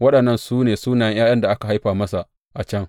Waɗannan su ne sunayen ’ya’yan da aka haifa masa a can.